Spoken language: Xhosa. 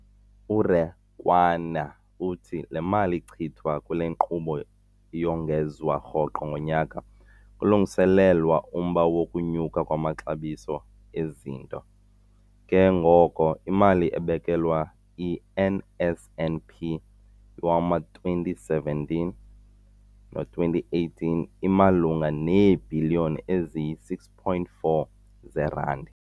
URakwena uthi le mali ichithwa kule nkqubo iyongezwa rhoqo ngonyaka kulungiselelwa umba wokunyuka kwamaxabiso ezinto, ke ngoko imali ebekelwe i-NSNP yowama-2017 no-2018 imalunga neebhiliyoni eziyi-6.4 zeerandi.